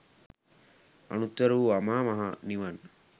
අනුත්තර වූ අමා මහ නිවන්